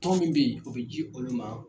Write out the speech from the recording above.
Tɔn min be yen, o bi ji olu ma